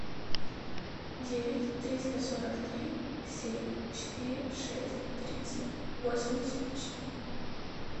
девять триста сорок три семь четыре шесть тридцать восемьдесят четыре